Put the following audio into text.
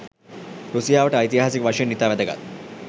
රුසියාවට ඓතිහාසික වශයෙන් ඉතා වැදගත්